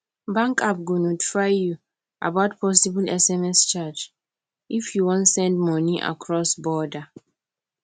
bank app go notify you about possible sms charge if you wan send money across border